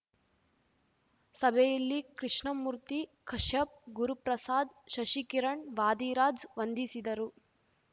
ಸಭೆಯಲ್ಲಿ ಕೃಷ್ಣಮೂರ್ತಿ ಕಶ್ಯಪ್‌ ಗುರುಪ್ರಸಾದ್‌ ಶಶಿಕಿರಣ್‌ ವಾದಿರಾಜ್‌ ವಂದಿಸಿದರು